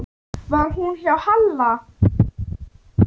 Var hún hjá Halla?